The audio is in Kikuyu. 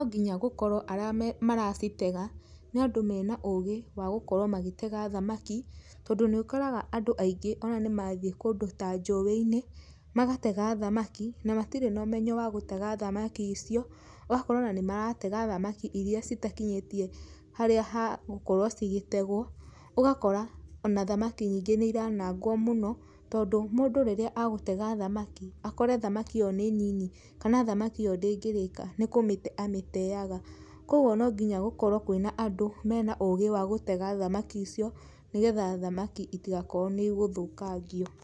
Nonginya gũkorwo arame, maracitega, nĩandú mena ũgĩ wagũkorwo magĩtega thamaki, tondũ nĩũkoraga andũ aingĩ ona nĩmathiĩ kũndũ ta njũĩ-inĩ, magatega thamaki, na matirĩ na ũmenyo wa gũtega thamaki icio, ũgakora ona nĩmaratega thamaki iria citakinyĩtie harĩa hagũkorwo cigĩtegwo, ũgakora, ona thamaki nyingĩ nĩiranagwo mũno, tondũ mũndũ rĩrĩa agũtega thamaki, akore thamaki ĩyo nĩ nini, kana thamaki ĩyo ndĩngĩrĩka, nĩkũmĩte amĩteaga, koguo nonginya gũkorwo kwĩna andũ mena ũgĩ wa gũtega thamaki icio, nĩgetha thamaki itigakorwo nĩigũthũkangio.